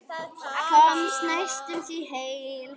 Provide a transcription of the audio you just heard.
Komst næstum heil heim.